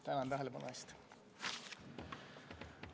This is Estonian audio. Tänan tähelepanu eest!